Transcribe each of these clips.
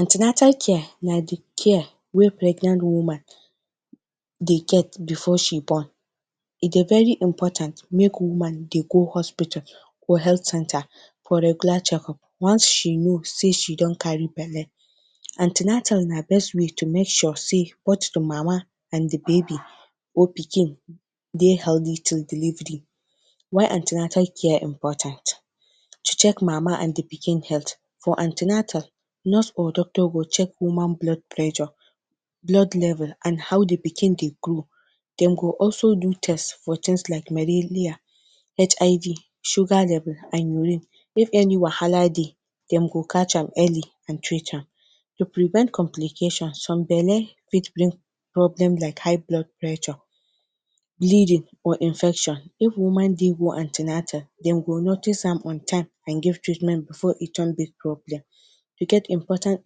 An ten atal care na the care wey pregnant woman dey get before she born. E dey very important make woman dey go hospital or health centre for regular checkup once she know sey she don carry belle. An ten atal na best way to make sure sey both the mama and the baby or pikin dey healthy till delivery. Why an ten atal care important? To check mama and the pikin health: For an ten atal, nurse or doctor go check human blood pressure, blood level and how the pikin dey grow. Dem go also do test for things like malaria, HIV, sugar level and urine. If any wahala dey, dem go catch am early and treat am. To prevent complication: Some belle fit bring problem like high blood pressure, bleeding or infection. If woman dey go an ten atal, dem go notice am on time and give treatment before e turn big problem. De get important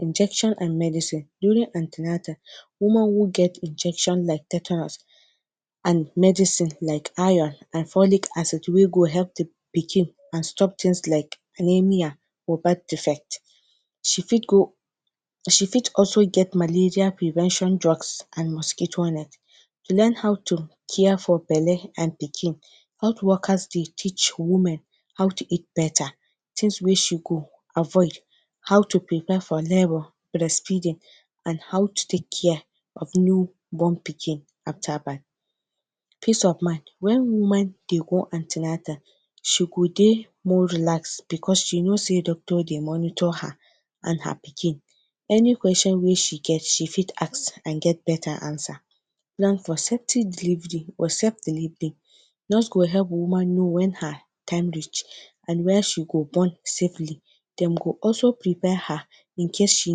injection and medicine. During an ten atal, woman will get injection like tetanus and medicine like iron and folic acid wey go help the pikin and stop things like malaria or bad effect. She fit go she fit also get malaria prevention drugs and mosquito net. Learn how to care for belle and pikin. Health workers dey teach women how to eat better, things wey she go avoid, how to prepare for labour, breastfeeding, and how to take care of new born pikin after birth. Peace of mind: When woman dey go an ten atal, she go dey more relaxed, because she know sey doctor dey monitor her and her pikin. Any question wey she get, she fit ask and get better answer. Now, for safety delivery or safe delivery: Nurse go help woman know when her time reach, and when she go born safely. Dem go also prepare her in case she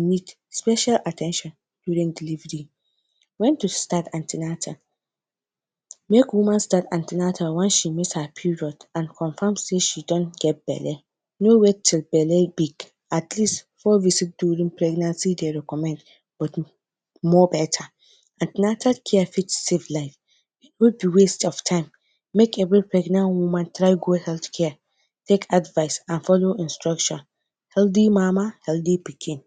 need special at ten tion during delivery. When to start an ten atal: Make woman start an ten atal once she miss her period and confirm sey she don get belle. No wait till belle big. Atleast, four weeks during pregnancy de recommend but more better. An ten atal care fit save life. E no be waste of time. Make every pregnant woman try go healthcare, take advice and follow instruction. Healthy mama, healthy pikin.